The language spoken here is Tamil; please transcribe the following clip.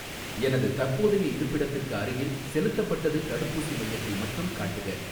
எனது தற்போதைய இருப்பிடத்திற்கு அருகில் செலுத்தப்பட்டது தடுப்பூசி மையத்தை மட்டும் காட்டுக.